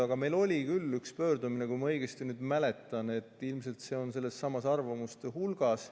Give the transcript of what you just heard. Aga meil oli küll üks pöördumine, kui ma õigesti mäletan, ilmselt see on sellessamas arvamuste hulgas.